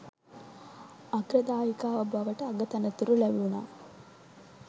අග්‍ර දායිකාව බවට අගතනතුරු ලැබුනා